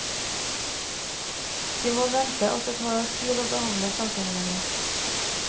De må vente at det tar tid å behandle sakene deres.